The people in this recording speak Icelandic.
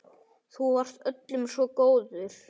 Þú varst öllum svo góður.